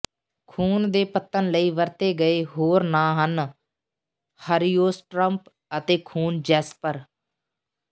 ਖ਼ੂਨ ਦੇ ਪੱਤਣ ਲਈ ਵਰਤੇ ਗਏ ਹੋਰ ਨਾਂ ਹਨ ਹਰੀਓਸਟ੍ਰੌਪ ਅਤੇ ਖੂਨ ਜੈਸਪਰ